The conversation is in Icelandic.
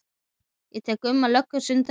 Ég tek Gumma löggu sem dæmi.